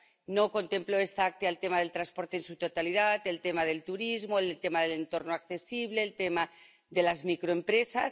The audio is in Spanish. No contempló este Acta el tema del transporte en su totalidad, el tema del turismo, el tema del entorno accesible, el tema de las microempresas.